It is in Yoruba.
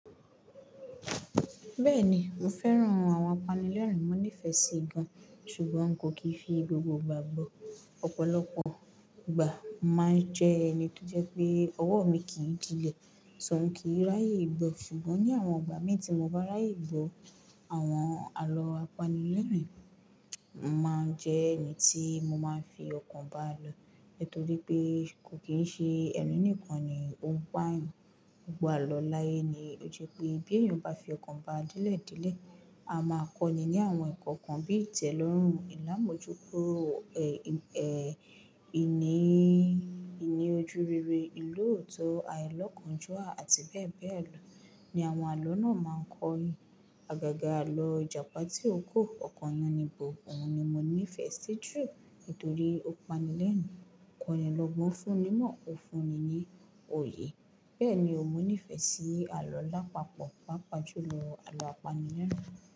Bẹ́ẹ̀ni, mo fẹ́ràn oun àwọn apanilẹ́rín, mo nífẹ̀ẹ́ sí i gan. Ṣùgbọ́n n kò kì í fi gbogbo ìgbà gbọ́. Ọ̀pọ̀lọpọ̀ ìgbà máa ń jẹ ẹni tó jẹ́ pé ọwọ́ mi kìí dílẹ̀, so òun kìí ráyè gbọ. Ṣùgbọ́n ní àwọn ìgbà mi tí mo bá ráyè gbọ, àwọn àlọ́ apanilẹ́rìn máa ń jẹ́ ẹni tí mo máa ń fi ọkàn bá lọ. Nítorí pé kò kí ń ṣe ẹrin nìkan ni ó ń pá ẹ̀yán. Gbogbo àlọ láyé ni ó jẹ́ pé bí ẹ̀yán bá fi ọkàn bá dẹ̀le delẹ̀, a máa kọ́ ni ní àwọn eko kan bíi ìtẹ̀lọ́rùn, ìlámojúkuro, ẹ̀, ìní, ìní ojurere, ìlú òtó, àilokánjúà àti bẹ́ẹ̀ bẹ́ẹ̀ lọ ni àwọn àlọ́ náà máa ń kọ́ èyán. Àgàgà àlọ́ Ijapa Tiroko Oko Yannibo òun ni mo nífẹ̀ẹ́ sí jù nítorí ó pani lẹ́rin, ó kọ́ni lọ́gbọ́n o fún ni imọ́, ó fún ni ní òye. Bẹ́ẹ̀ni o mo nífẹ̀ẹ́ sí àlọ́ láapapọ̀, pàápàá jù lọ àlọ́ apanilẹ́rìn.